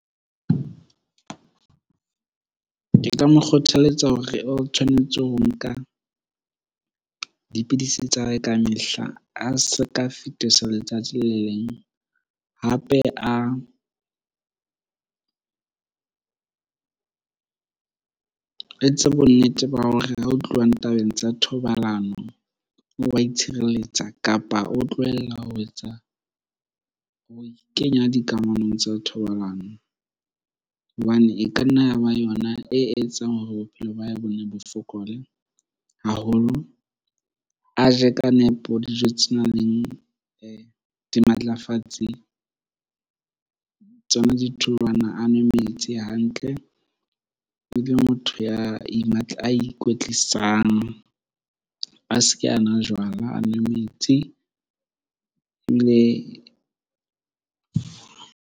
Ke ka mo kgothaletsa hore o tshwanetse ho nka dipidisi tsa hae ka mehla, a se ka fetisa letsatsi le leng. Hape a a etse bonnete ba hore ha ho tluwa tabeng tsa thobalano o wa itshireletsa, kapa o tlohella ho etsa, ho ikenya dikamanong tsa thobalano. Hobane e ka nna ya ba yona e etsang hore bophelo ba hae bo fokole haholo. A je ka nepo dijo tse nang le dimatlafatsi, tsona ditholwana. A nwe metsi hantle, motho ya a ikwetlisang. A se ke a nwa jwala, a nwe metsi .